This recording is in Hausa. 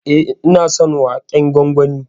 E, ina son waken gwangwani.